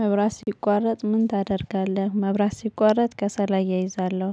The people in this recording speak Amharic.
መብራት ሲቋረጥ ምን ታደርጋለህ? መብራት ሲቋረጥ ከሰል አያይዛለሁ።